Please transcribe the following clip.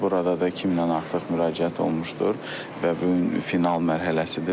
Burada da 2000-dən artıq müraciət olunmuşdur və bu gün final mərhələsidir.